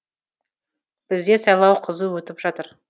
бізде сайлау қызу өтіп жатыр